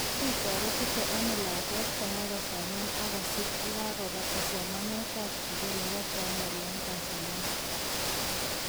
Kiritoretite ano lagwet konai kusoman ak kosir yakakobatab somanet tab sukul nebo primary eng Tanzania.